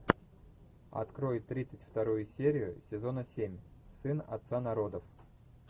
открой тридцать вторую серию сезона семь сын отца народов